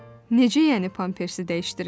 Necə yəni pampersi dəyişdirirəm?